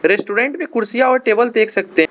और ये स्टूडेंट भी कुर्सियां और टेबल देख सकते हैं।